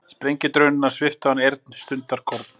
Sprengjudrunurnar sviptu hann heyrn stundarkorn.